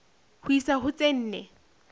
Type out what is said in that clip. ho isa ho tse nne